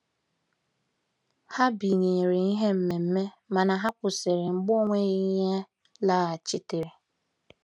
Ha binyere ihe mmemme mana ha kwụsịrị mgbe ọ nweghị ihe laghachitere.